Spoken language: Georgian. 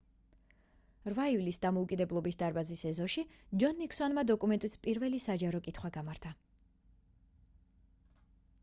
8 ივლისს დამოუკიდებლობის დარბაზის ეზოში ჯონ ნიქსონმა დოკუმენტის პირველი საჯარო კითხვა გამართა